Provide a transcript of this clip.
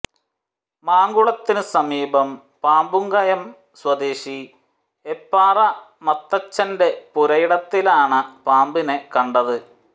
മാങ്കുളത്തിനു സമീപം പാമ്പുംകയം സ്വദേശി ഐപ്പാറ മത്തച്ചന്റെ പുരയിടത്തിലാണ് പാമ്പിനെ കണ്ടത്